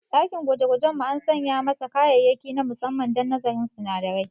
Dakin gwajegwajen mu an sanya masa kayayyaki na musamman don nazarin sinadarai.